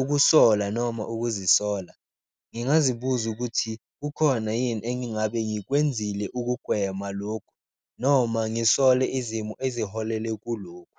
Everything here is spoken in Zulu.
ukusola noma ukuzisola ngingazibuza ukuthi kukhona yini engabe ngikwenzile ukugwema lokhu, noma ngisole izimo eziholele kulokhu.